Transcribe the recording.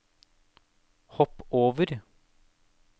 hopp over